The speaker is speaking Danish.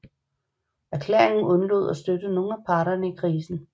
Erklæringen undlod at støtte nogen af parterne i krisen